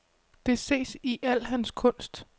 Det ses i al hans kunst.